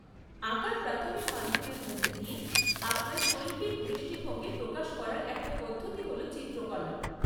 আঁকার প্রাথমিক মাধ্যমের মধ্যে দিয়ে আপনার শৈল্পিক দৃষ্টিভঙ্গি প্রকাশ করার একটা পদ্ধতি হল চিত্রকলা।